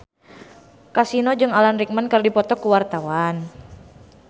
Kasino jeung Alan Rickman keur dipoto ku wartawan